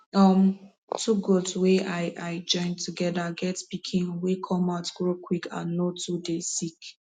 um two goat wey i i join together get pikin wey come out grow quick and no too dey sick